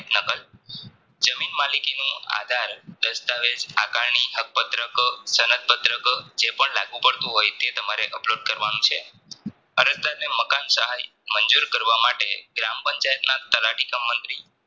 જમીન માલિકીનું આધાર દસ્તાવેજ હાકારની હક પત્રક સંક પત્રકો જેપણ લાગુ પડતું હોય તે તમારે Upload કરવાનું છે.